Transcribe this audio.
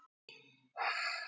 Bótaskylda utan samninga.